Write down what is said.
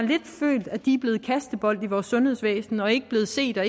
følt at de er blevet kastebold i vores sundhedsvæsen og ikke blevet set og